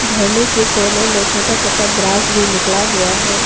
झरने के कोने में छोटा छोटा ग्रास भी निकला हुआ है।